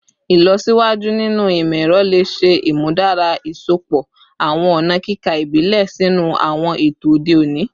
Ilọsiwaju ninu imọ-ẹrọ le ṣe imudara iṣọpọ awọn ọna kika ibile sinu awọn eto ode oni